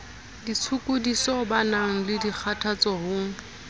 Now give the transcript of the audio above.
ditshokodiso banang le dikgathatso ho